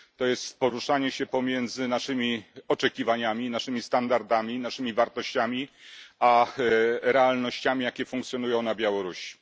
To jest poruszanie się pomiędzy naszymi oczekiwaniami, naszymi standardami, naszymi wartościami a realnościami, jakie funkcjonują na Białorusi.